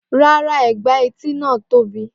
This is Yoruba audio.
Rárá ègbà etí náà tóbi.